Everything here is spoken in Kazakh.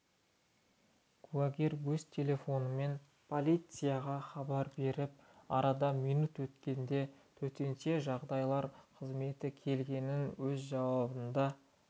куәгер өз телефонымен полицияға хабар беріп арада минут өткенде төтенше жағдайлар қызметі келгенін өз жауабында